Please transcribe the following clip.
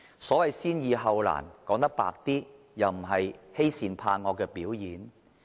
所謂"先易後難"，說得直接一點，就是欺善怕惡的表現。